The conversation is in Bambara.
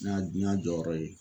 N ɲ'a n ɲ'a jɔyɔrɔ ye.